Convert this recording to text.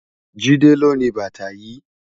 Jide ló ni bàtá yi